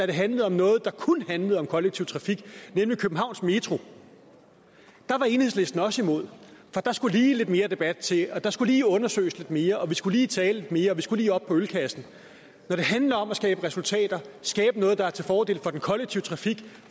det handlede om noget der kun handlede om kollektiv trafik nemlig københavns metro var enhedslisten også imod for der skulle lige lidt mere debat til og der skulle lige undersøges lidt mere og vi skulle lige tale lidt mere og vi skulle lige op på ølkassen når det handler om at skabe resultater skabe noget der er til fordel for den kollektive trafik